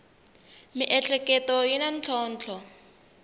miehleketo yi na ntlhontlho